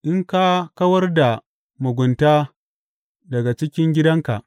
In ka kawar da mugunta daga cikin gidanka.